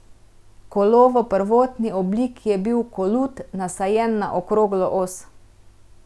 Kolo v prvotni obliki je bil kolut, nasajen na okroglo os.